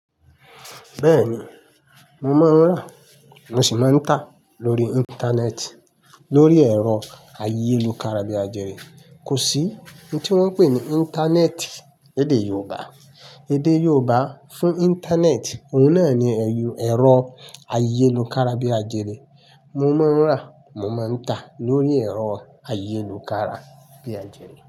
Bẹ́ẹ̀ni, mo máa ń rà, mo sì máa ń tà lórí Íńtánẹ́ẹ̀tì. Lórí ẹ̀rọ ayélukára bí àjẹ́rìí. Kò sí oun tí wọ́n ń pè ní Íńtánẹ́ẹ̀tì èdè Yorùbá. Èdè Yorùbá fún Íńtánẹ́ẹ̀tì, òun náà ni ẹ̀rọ ayélukára bí àjẹ́rìí. Mo máa ń rà, mo máa ń tà lórí ẹ̀rọ ayélukára bí àjẹ́rìí.